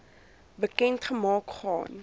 bekend gemaak gaan